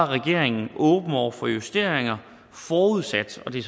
regeringen åben over for justeringer forudsat og det